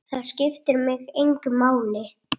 Það skiptir mig engu máli.